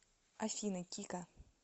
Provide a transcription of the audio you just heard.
афина кика